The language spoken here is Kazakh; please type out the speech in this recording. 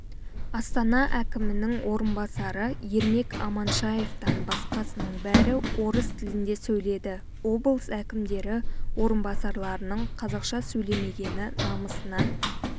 астана әкімінің орынбасары ермек аманшаевтан басқасының бәрі орыс тілінде сөйледі облыс әкімдері орынбасарларының қазақша сөйлемегені намысына